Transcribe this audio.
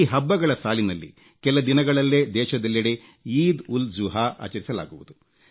ಈ ಹಬ್ಬಗಳ ಸಾಲಿನಲ್ಲಿ ಕೆಲ ದಿನಗಳಲ್ಲೇ ದೇಶದೆಲ್ಲೆಡೆ ಈದ್ ಉಲ್ ಜುಹಾ ಆಚರಿಸಲಾಗುವುದು